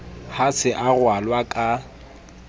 ha se a ralwa ka